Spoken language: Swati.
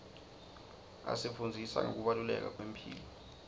asifundzisa ngekubaluleka kwemphilo